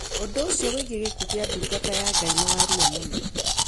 Undu ucio wigii gikuo gia ndungata ya Ngai ni wa ruo muno